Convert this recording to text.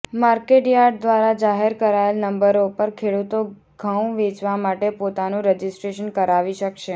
market yard દ્વારા જાહેર કરાયેલ નંબરો પર ખેડૂતો ઘઉં વેચવા માટે પોતાનું રજીસ્ટ્રેશન કરાવી શકશે